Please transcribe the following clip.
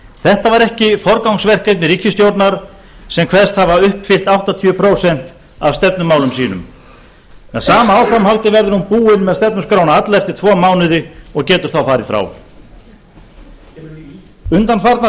þetta var ekki forgangsverkefni ríkisstjórnar sem kveðst hafa uppfyllt áttatíu prósent af stefnumálum sínum með sama áframhaldi verður hún búin með stefnuskrána alla eftir tvo mánuði og getur þá farið frá undanfarnar